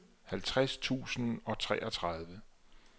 halvtreds tusind og treogtredive